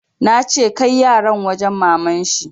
Nace kai yaran wajen maman shi!